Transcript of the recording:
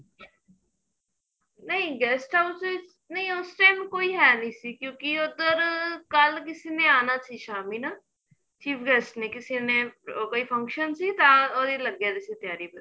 ਨਹੀਂ guest house ਦੇ ਵਿੱਚ ਨਹੀਂ ਉਸ time ਕੋਈ ਹੈ ਨਹੀਂ ਸੀ ਕਿਉਂਕਿ ਉੱਧਰ ਕੱਲ ਕਿਸੀ ਨੇ ਆਣਾ ਸੀ ਸ਼ਾਮੀ ਨਾ chief guest ਨੇ ਕਿਸੇ ਨੇ ਕੋਈ function ਸੀ ਤਾਂ ਉਹਦੀ ਲੱਗਿਆ ਪਿਆ ਸੀ ਤਿਆਰੀ